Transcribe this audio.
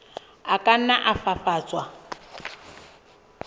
a ka nna a fafatswa